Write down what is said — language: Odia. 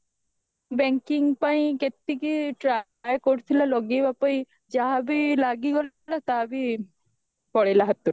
banking ପାଇଁ କେଟିକି try କରୁଥିଲା ଲଗେଇବା ପାଇଁ ଯାହା ବି ଲାଗିଗଲା ତାହା ବି ପଳେଇଲା ହାତରୁ